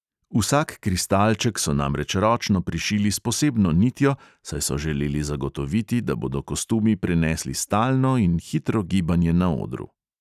Vsak kristalček so namreč ročno prišili s posebno nitjo, saj so želeli zagotoviti, da bodo kostumi prenesli stalno in hitro gibanje na odru.